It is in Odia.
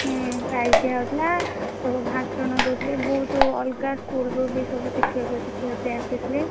ହୁଁ prize ଦିଆ ହଉଥିଲା ସବୁ ଭାଷଣ ଦଉଥିଲେ ବହୁତ ଅଲଗା school ରୁ ବି ଶିକ୍ଷକ ଶିକ୍ଷୟତ୍ରୀ ଆସିଥିଲେ।